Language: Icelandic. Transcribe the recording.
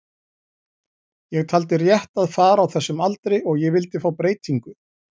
Ég taldi rétt að fara á þessum aldri og ég vildi fá breytingu.